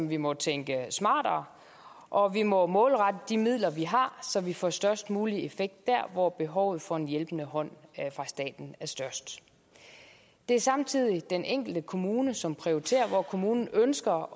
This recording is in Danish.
vi må tænke smartere og vi må målrette de midler vi har så vi får størst mulig effekt der hvor behovet for en hjælpende hånd fra staten er størst det er samtidig den enkelte kommune som prioriterer hvor kommunen ønsker